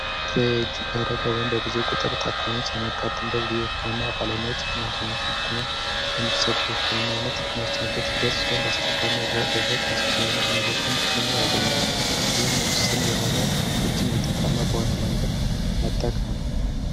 ትሬጅ በደጋወም በብዙ ቁጥር ታካሙስ የመጋትንበት ጊዜ ሕክምና ባለመዎች የህመንቶኞችን ቅድሚያ የሚሰጡ የክምና ዓይነት የሚወሰንቤት ሂደት ሲሆን በአስቸኳይ ና ለይሆ ታስኪ የሆኑ ሁኔቶችን ቅድሜያ ያገኛሉ ይህም ውስን የሆነ ሀብቶችን ውጥታማ በሆነ መንገድ መጠቀብ ነው